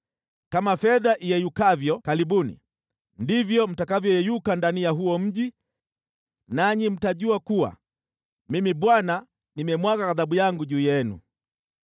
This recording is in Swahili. Kama fedha iyeyukavyo kalibuni, ndivyo mtakavyoyeyuka ndani ya huo mji, nanyi mtajua kuwa Mimi Bwana nimemwaga ghadhabu yangu juu yenu.’ ”